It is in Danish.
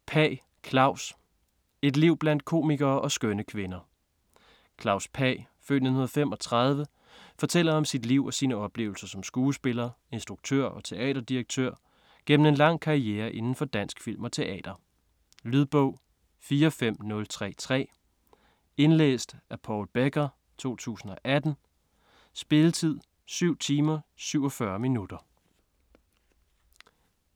Pagh, Klaus: Et liv blandt komikere og skønne kvinder Klaus Pagh (f. 1935) fortæller om sit liv og sine oplevelser som skuespiller, instruktør og teaterdirektør igennem en lang karriere indenfor dansk film og teater. Lydbog 45033 Indlæst af Paul Becker, 2018. Spilletid: 7 timer, 47 minutter.